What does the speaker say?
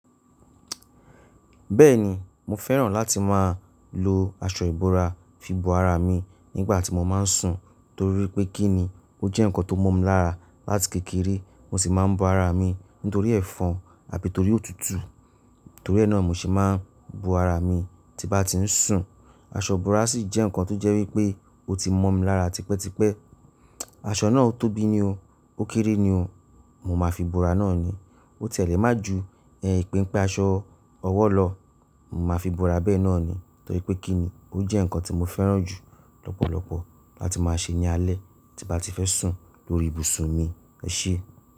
Bẹ́ẹ̀ni, mo fẹ́ràn láti máa lo aṣọ ìbora fi bo ara mi nígbàtí mo máa ń sùn, torí pé kí ni, ó jẹ́ nǹkan tó mọ́ mi lára. Láti kékeré mo sì máa ń bo ara mi nítorí ẹ̀fọn àbí torí òtútù. Torí ẹ́ náà mo se máa ń bo ara mi tí bá ti ń sùn. Aṣọ ìbora sì jẹ́ nǹkan tó jẹ́ wípé ó ti mọ́ mi lára tipẹ́tipẹ́. Aṣọ náà ó tóbi ni o, ó kéré ni o, mo máa fi bo ara náà ni. Ó tiẹ́ lẹ̀ máa ju ipéńpé aṣọ ọwọ́ lọ, mo máa fi bo ara bẹ́ẹ̀ náà ni. Torí pé kí ni, ó jẹ́ nǹkan tí mo fẹ́ràn jù lọ́pọ̀lọpọ̀ láti máa ṣe ní alẹ́ tí bá ti fẹ́ sùn lórí ibùsùn mi. Ẹ ṣé.